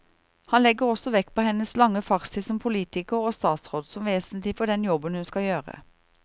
Han legger også vekt på hennes lange fartstid som politiker og statsråd som vesentlig for den jobben hun skal gjøre.